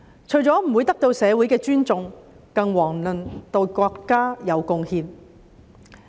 除了不會得到社會的尊重，更遑論對國家有貢獻。